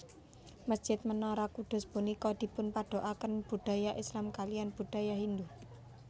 Mesjid Menara Kudus punika dipunpaduaken budaya Islam kaliyan budaya Hindu